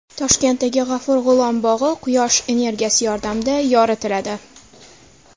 Toshkentdagi G‘afur G‘ulom bog‘i Quyosh energiyasi yordamida yoritiladi .